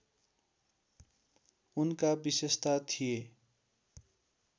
उनका विशेषता थिए